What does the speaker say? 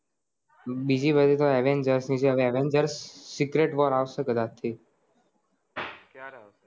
બીજી બધી તો avengers ની છે Avengers secret Wars અવસે કદાચ થી